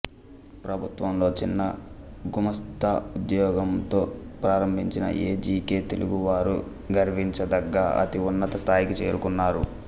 ప్రభుత్వంలో చిన్న గుమస్థా ఉద్యోగంతో ప్రారంభించిన ఎ జి కె తెలుగువారు గర్వించదగ్గ అతి ఉన్నత స్థాయికి చేరుకున్నారు